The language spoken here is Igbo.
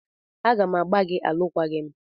A ga m agbà gị alụkwaghịm!